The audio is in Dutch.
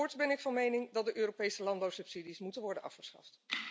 Voorts ben ik van mening dat de Europese landbouwsubsidies moeten worden afgeschaft.